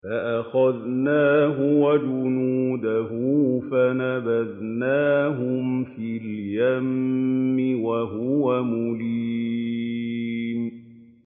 فَأَخَذْنَاهُ وَجُنُودَهُ فَنَبَذْنَاهُمْ فِي الْيَمِّ وَهُوَ مُلِيمٌ